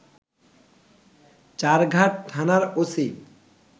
চারঘাট থানার ওসি